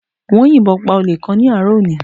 Wọ́n yìnbọn pa Olè kan ní àárọ̀ òní